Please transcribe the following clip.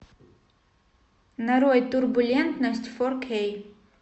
нарой турбулентность фор кей